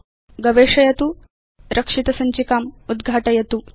गवेषयतु रक्षित सञ्चिकाम् उद्घाटयतु च